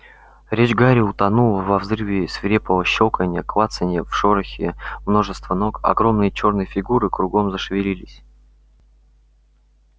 речь гарри утонула во взрыве свирепого щёлканья клацанья в шорохе множества ног огромные чёрные фигуры кругом зашевелились